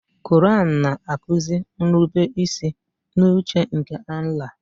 Koraan na-akuzi nrubeisi n'uche nke Allàh.